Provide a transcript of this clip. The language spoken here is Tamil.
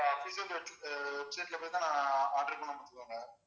official web~ website ல போயி தான் நான் order பண்ணேன் பார்த்துக்கங்க